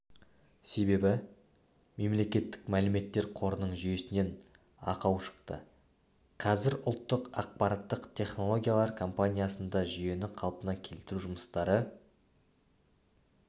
себебі мемлекеттік мәліметтер қорының жүйесінен ақау шықты қазір ұлттық ақпараттық технологиялар компаниясында жүйені қалпына келтіру жұмыстары